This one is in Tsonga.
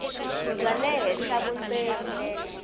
bya le henhla vundzeni